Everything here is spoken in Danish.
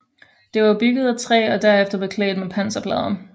Det var bygget af træ og derefter beklædt med panserplader